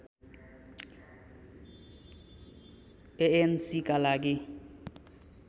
एएनसीका लागि